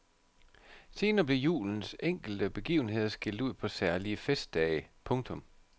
Senere blev julens enkelte begivenheder skilt ud på særlige festdage. punktum